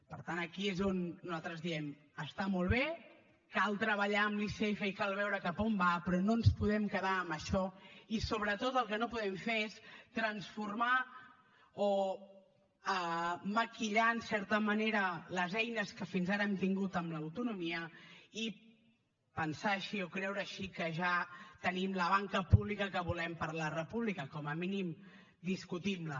per tant aquí és on nosaltres diem està molt bé cal treballar amb l’icf i cal veure cap a on va però no ens podem quedar en això i sobretot el que no podem fer és transformar o maquillar en certa manera les eines que fins ara hem tingut amb l’autonomia i pensar així o creure així que ja tenim la banca pública que volem per a la república com a mínim discutim la